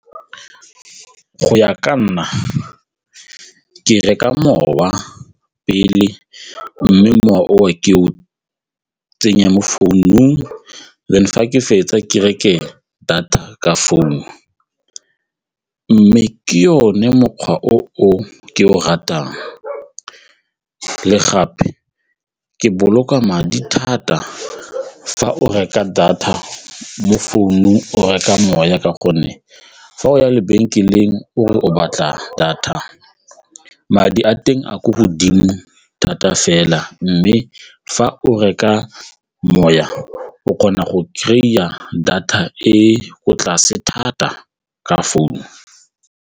Go ya ka nna, ke reka mowa pele mme mowa ke o tsenya mo founung then fa ke fetsa ke reke data ka founu mme ke one mokgwa o ke o ratang le gape ke boloka madi thata fa o reka data mo founung o reka moya ka gonne fa o ya lebenkeleng o re o batla data madi a teng a ko godimo thata fela mme fa o reka moya o kgona go kry-a data e ko tlase thata ka founu.